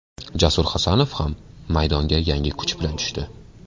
Jasur Hasanov ham maydonga yangi kuch bilan tushdi.